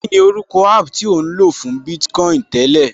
Kíni orúkọ app tí ò ń lò láti fún Bitcoin tẹ́lẹ̀?